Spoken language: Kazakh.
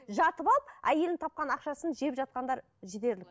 жатып алып әйелінің тапқан ақшасын жеп жатқандар жетерлік